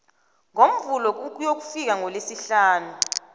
ngomvulo ukuyokufika ngelesihlanu